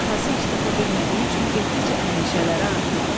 Atası iş tapa bilmədiyi üçün getdikcə əndişələri artırdı.